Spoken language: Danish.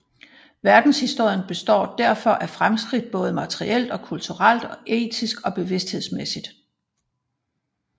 Verdenshistorien består derfor af fremskridt både materielt og kulturelt og etisk og bevidsthedsmæssigt